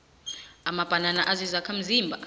amabanana azizakhamzimba